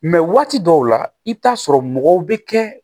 waati dɔw la i bɛ taa sɔrɔ mɔgɔw bɛ kɛ